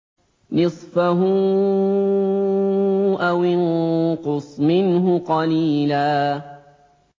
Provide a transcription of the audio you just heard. نِّصْفَهُ أَوِ انقُصْ مِنْهُ قَلِيلًا